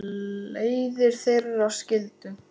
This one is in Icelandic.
Leiðir þeirra skildu.